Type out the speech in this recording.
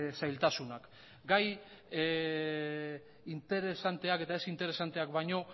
zailtasunak gai interesanteak eta ez interesanteak baino